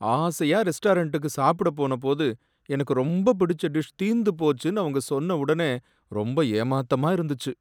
ஆசையா ரெஸ்டாரண்டுக்கு சாப்புட போனபோது எனக்கு ரொம்ப பிடிச்ச டிஷ் தீந்துபோச்சுனு அவங்க சொன்ன ஒடனே ரொம்ப ஏமாத்தமா இருந்துச்சு.